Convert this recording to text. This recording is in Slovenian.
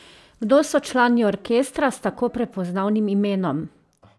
Kdo so člani orkestra s tako prepoznavnim imenom?